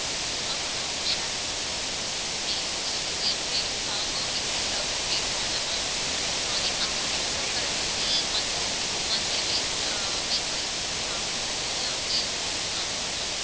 ஆமா ma'am share market அ பொறுத்தவரைக்கும் days wise வந்து increase ஆகும் decrease ஆகும் அப்படி இருக்கும் இல்லை ma'am, so அதே மாதிரி ptocurrency mon~ இப்போ monthly wise அஹ் week wise அப்படி ஆகுமா இல்லை year wise தான் ஆகுமா ma'am